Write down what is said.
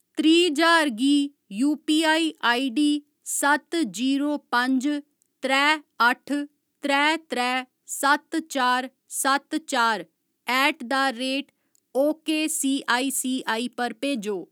त्रीह् ज्हार गी UPI ID सत्त जीरो पंज त्रै अठ्ठ त्रै त्रै सत्त चार सत्त चार at the rate O K C I C I पर भेजो।